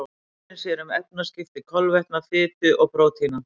Lifrin sér um efnaskipti kolvetna, fitu og prótína.